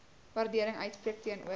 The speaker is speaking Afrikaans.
waardering uitspreek teenoor